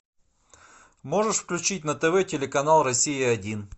можешь включить на тв телеканал россия один